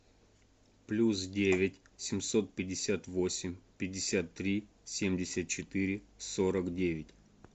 плюс девять семьсот пятьдесят восемь пятьдесят три семьдесят четыре сорок девять